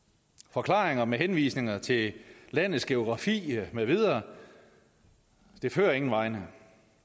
forklaringer med henvisninger til landets geografi med videre fører ingen vegne